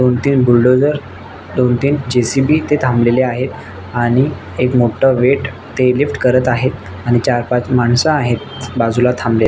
दोन तीन बुल्डोझर दोन तीन जे.सी.फी. येथे थाबले आहेत आणि एक मोठ वेट ते लिफ्ट करत आहे आणि चार पाच माणस आहेत त्याच्या बाजुला थांबले.